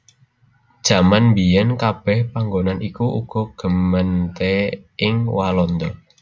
Jaman mbiyèn kabèh panggonan iku uga gemeente ing Walanda